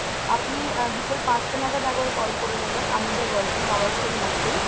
আপনি বিকেল পাঁচটা নাগাদ একবার call করে নেবেন, আমাদের working hours এর মধ্যেই।